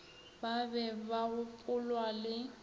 ba be ba gopolwa le